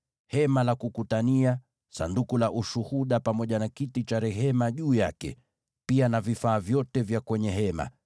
Hema la Kukutania, Sanduku la Ushuhuda pamoja na kiti cha rehema juu yake, pia na vifaa vyote vya kwenye hema,